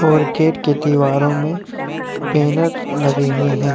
और गेट के दीवारों में बैनर लगे हुए हैं।